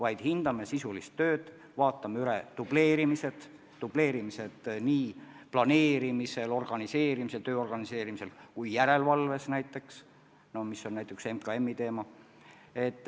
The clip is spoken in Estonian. Me hindame sisulist tööd, vaatame üle dubleerimised – dubleerimised nii planeerimisel, töö organiseerimisel kui ka järelevalves, mis on näiteks MKM-i teema.